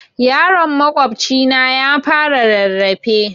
Yaron makwabcina ya fara rarrafe